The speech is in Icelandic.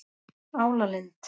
Álalind